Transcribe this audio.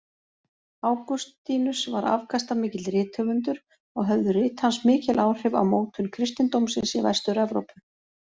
Ágústínus var afkastamikill rithöfundur og höfðu rit hans mikil áhrif á mótun kristindómsins í Vestur-Evrópu.